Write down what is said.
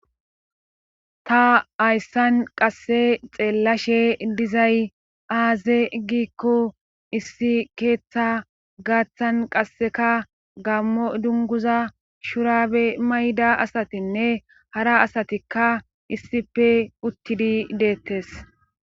Ta hayssan qasse xeellashshe dizay aaze gikko issi keeththa gaaththan qasseka gammo dunguza shurabe mayda asatinne hara asatikka issippe uttidi deettees